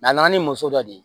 a nana ni muso dɔ ye